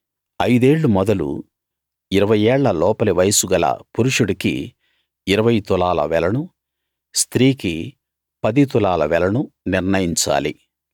ఐదేళ్ళు మొదలు ఇరవై ఏళ్ల లోపలి వయస్సు గల పురుషుడికి ఇరవై తులాల వెలను స్త్రీకి పది తులాల వెలను నిర్ణయించాలి